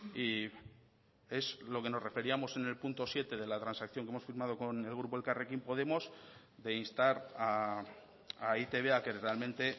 y es lo que nos referíamos en el punto siete de la transacción que hemos firmado con el grupo elkarrekin podemos de instar a e i te be a que realmente